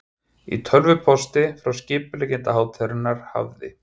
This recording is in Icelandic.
Í tölvupósti frá skipuleggjanda hátíðarinnar hafði